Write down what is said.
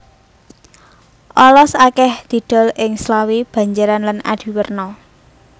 Olos akèh didol ing Slawi Banjaran lan Adiwerna